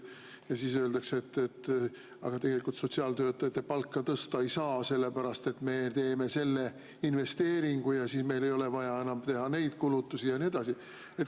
Ja siis öeldakse, et aga sotsiaaltöötajate palka tõsta ei saa, sest me teeme selle investeeringu ja meil ei ole enam vaja neid kulutusi teha ja nii edasi.